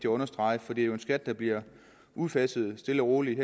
understrege for det er jo en skat der bliver udfaset stille og roligt